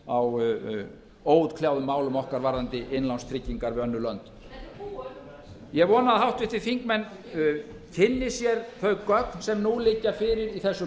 á óútkljáðum málum okkar varðandi innlánstryggingar við önnur lönd þetta er ég vona að háttvirtir þingmenn kynni sér þau gögn sem nú liggja fyrir í þessu